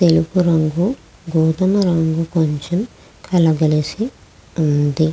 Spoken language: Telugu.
తెలుపు రంగు గోధుమ రంగు కొంచెం కలగలిసి ఉంది .